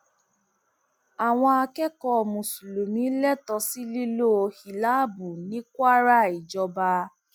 àwọn akẹkọọ mùsùlùmí lẹtọọ sí lílo hílàábù ní kwara ìjọba